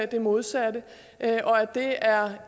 det modsatte og at det er